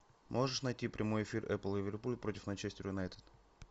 можешь найти прямой эфир апл ливерпуль против манчестер юнайтед